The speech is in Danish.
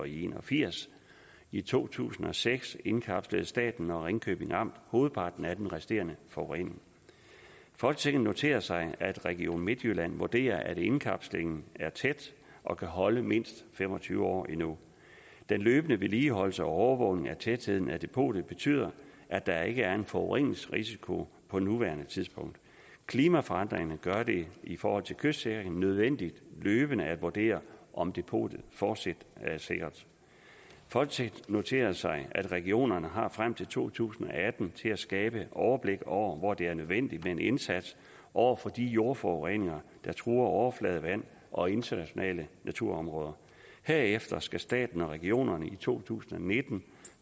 en og firs i to tusind og seks indkapslede staten og ringkjøbing amt hovedparten af den resterende forurening folketinget noterer sig at region midtjylland vurderer at indkapslingen er tæt og kan holde mindst fem og tyve år endnu den løbende vedligeholdelse og overvågning af tætheden af depotet betyder at der ikke er en forureningsrisiko på nuværende tidspunkt klimaforandringerne gør det i forhold til kystsikring nødvendigt løbende at vurdere om depotet fortsat er sikkert folketinget noterer sig at regionerne har frem til to tusind og atten til at skabe overblik over hvor det er nødvendigt med en indsats over for de jordforureninger der truer overfladevand og internationale naturområder herefter skal staten og regionerne i to tusind og nitten